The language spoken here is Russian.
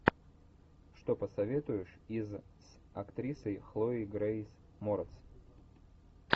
что посоветуешь из с актрисой хлоей грейс морец